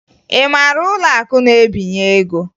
Ị mara ụlọakụ na-ebinye ego?